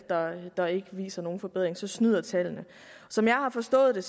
der ikke viser nogen forbedring så snyder tallene som jeg har forstået det